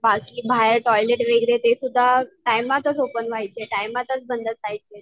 बाकी बाहेर टॉयलेट वगैरे ते सुद्धा, टायमातच ओपन व्हायचे टायमातच बंद व्हायचे.